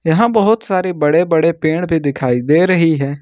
यहां बहुत सारे बड़े बड़े पेड़ भी दिखाई दे रही है।